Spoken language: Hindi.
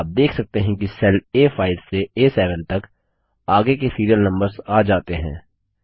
आप देख सकते हैं कि सेल आ5 से आ7 तक आगे के सिरिअल नम्बर्स आ जाते हैं